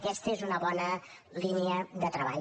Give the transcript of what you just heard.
aquesta és una bona línia de treball